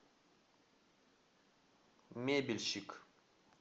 мебельщик